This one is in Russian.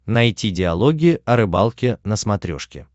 найти диалоги о рыбалке на смотрешке